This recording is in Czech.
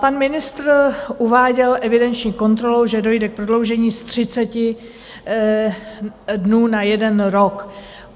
Pan ministr uváděl evidenční kontrolu, že dojde k prodloužení z 30 dnů na jeden rok.